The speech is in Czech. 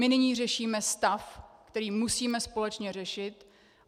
My nyní řešíme stav, který musíme společně řešit.